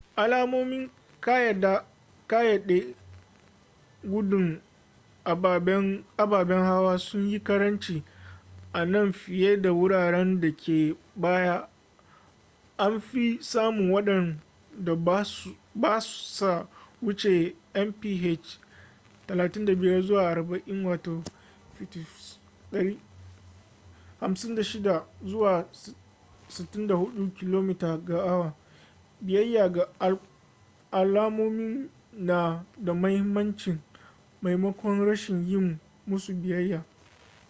alamomin kayyade gudun ababen hawa sun yi karanci a nan fiye da a wuraren da ke baya - anfi samun wadanda ba sa wuce mph 35-40 56-64 km/h - biyayya ga alamomin na da mahimmanci maimakon rashin yi musu biyayya